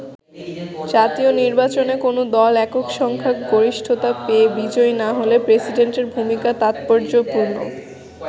জাতীয় নির্বাচনে কোন দল একক সংখ্যা গরিষ্ঠতা পেয়ে বিজয়ী না হলে প্রেসিডেন্টের ভূমিকা তাৎপর্যপূর্ণ।